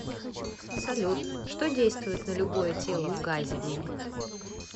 салют что действует на любое тело в газе